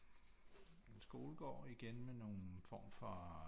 En skolegård igen med nogen form for